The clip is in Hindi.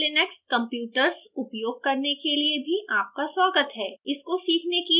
ज्यादा कीमती लिनक्स computers उपयोग करने के लिए भी आपका स्वागत है